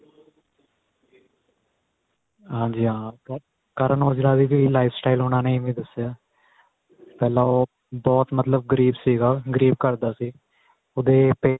ਹਾਂਜੀ ਹਾਂ Karan aujla ਦੀ ਵੀ life style ਚ ਉਹਨਾ ਨੇ ਇਵੇ ਦਸਿਆ ਪਹਿਲਾਂ ਉਹ ਬਹੁਤ ਮਤਲਬ ਗਰੀਬ ਸੀਗਾ ਗਰੀਬ ਘਰ ਦਾ ਸੀ ਉਹਦੇ parents